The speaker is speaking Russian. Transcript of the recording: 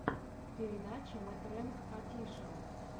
передача мэтрэнг офишэл